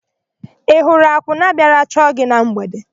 Ị hụrụ akwụna bịara chọọ gị na mgbede?